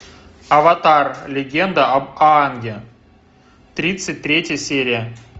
аватар легенда об аанге тридцать третья серия